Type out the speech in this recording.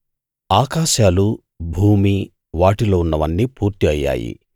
ఆకాశాలు భూమి వాటిలో ఉన్నవన్నీ పూర్తి అయ్యాయి